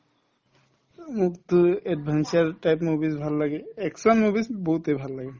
উম, মোকতো advancer type movies ভাল লাগে action movies বহুতে ভাল লাগে